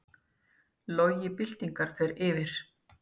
Logi byltingar fer yfir